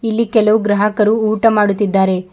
ಇಲ್ಲಿ ಕೆಲವು ಗ್ರಾಹಕರು ಊಟ ಮಾಡುತ್ತಿದ್ದಾರೆ.